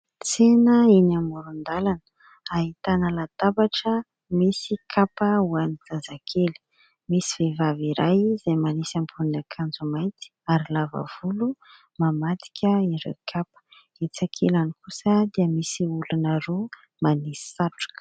Tsena eny amoron-dalana ahitana latabatra misy kapa ho an'ny zazakely. Misy vehivavy iray izay manisy ambonin'akanjo mainty ary lava volo mamadika ireo kapa. Etsy ankilany kosa dia misy olona roa manisy satroka.